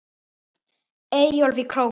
Eyjólf í Króki.